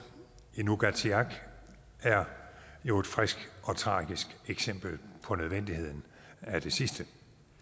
i nuugaatsiaq er jo et frisk og tragisk eksempel på nødvendigheden af det sidste